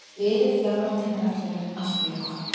Liðið, þjálfarateymið, völlurinn- allt mjög gott!